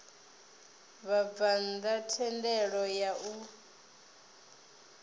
vhabvann ḓa thendelo ya u